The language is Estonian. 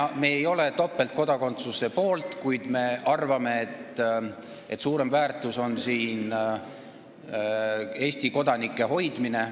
Me ei ole topeltkodakondsuse poolt, kuid me arvame, et suurem väärtus on Eesti kodanike hoidmine.